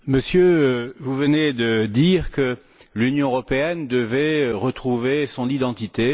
Monsieur, vous venez de dire que l'Union européenne devait retrouver son identité.